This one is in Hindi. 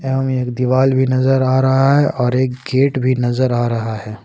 एक दीवाल भी नजर आ रहा है और एक गेट भी नजर आ रहा है।